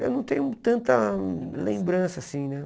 Eu não tenho tanta lembrança, assim, né?